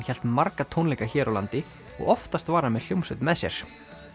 hélt marga tónleika hér á landi og oftast var hann með hljómsveit með sér